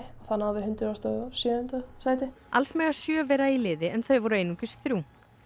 þá náðum við hundrað og sjöunda sæti alls mega sjö vera í liði en þau voru einungis þrjú